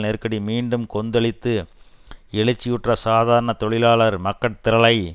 நெருக்கடி மீண்டும் கொந்தளித்து எழுச்சியுற்ற சாதாரண தொழிலாளர் மக்கட்திரளை